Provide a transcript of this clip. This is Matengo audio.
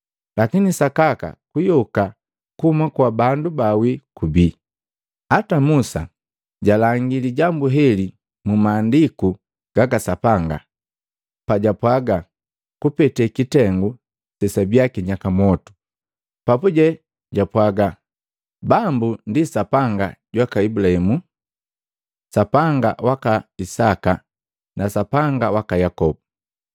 Lakini sakaka kuyoka kuhuma kwa bandu baawi kubii. Ata Musa jalangia lijambu leheli mu Maandiku gaka Sapanga pajapwaga kupete kitengu sesabiya kinyakaa mwotu. Papuje jwapwaga Bambu ndi Sapanga jwaka Ibulahimu, Sapanga waka Isaka na Sapanga waka Yakobu.